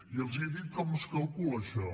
i els dic com es calcula això